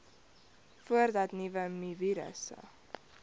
voordat nuwe mivirusse